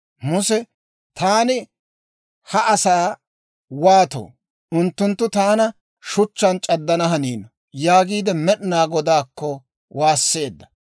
Muse, «Taani ha asaa waatoo? Unttunttu taana shuchchaan c'addana haniino» yaagiide Med'inaa Godaakko waasseedda.